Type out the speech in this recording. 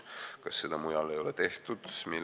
Kas seda mujal ei ole tehtud?